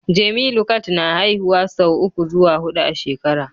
Jemilu cat na haihuwa sau uku zuwa hudu a shekara